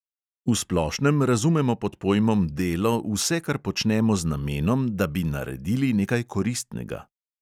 V splošnem razumemo pod pojmom delo vse, kar počnemo z namenom, da bi naredili nekaj koristnega.